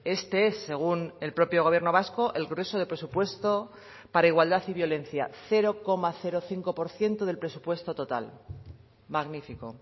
este es según el propio gobierno vasco el grueso de presupuesto para igualdad y violencia cero coma cinco por ciento del presupuesto total magnífico